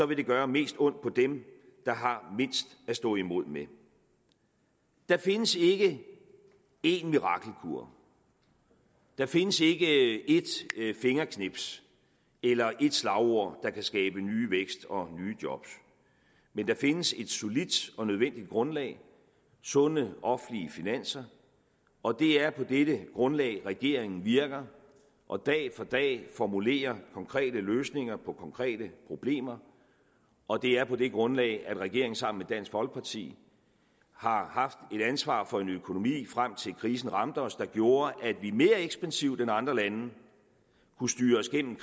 vil det gøre mest ondt på dem der har mindst at stå imod med der findes ikke en mirakelkur der findes ikke et fingerknips eller et slagord der kan skabe ny vækst og nye job men der findes et solidt og nødvendigt grundlag sunde offentlige finanser og det er på dette grundlag regeringen virker og dag for dag formulerer konkrete løsninger på konkrete problemer og det er på det grundlag at regeringen sammen dansk folkeparti har haft et ansvar for en økonomi frem til krisen ramte os der gjorde at vi mere ekspansivt end andre lande kunne styre os igennem